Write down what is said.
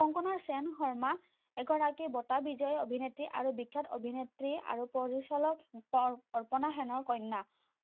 কনকনা শেন শৰ্মা এগৰাকী বটা বিজয়ী অভিনেত্ৰী আৰু বিখ্যাত অভিনেত্ৰী আৰু পৰিচালক অৰ্পণা শেনৰ কণ্যা